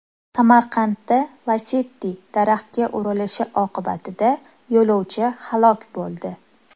Samarqandda Lacetti daraxtga urilishi oqibatida yo‘lovchi halok bo‘ldi.